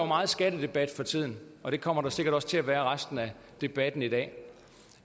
meget skattedebat for tiden og det kommer der sikkert også til at være resten af debatten i dag